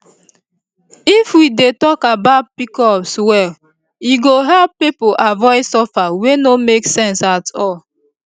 if we dey talk about pcos well e go help people avoid suffer wey no make sense at all